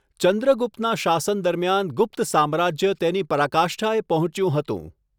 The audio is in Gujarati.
ચંદ્રગુપ્તના શાસન દરમિયાન ગુપ્ત સામ્રાજ્ય તેની પરાકાષ્ઠાએ પહોંચ્યું હતું.